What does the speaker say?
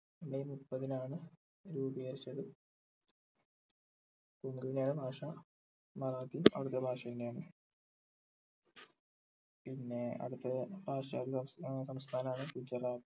may മുപ്പത്തിനാണ് രൂപീകരിച്ചത് കൊങ്കണിയാണ് ഭാഷ മറാത്തി ഔദ്യോദിഗ ഭാഷ തന്നെ ആണ് പിന്നെ അടുത്തത് സംസ്ഥാനം ആണ് ഗുജറാത്ത്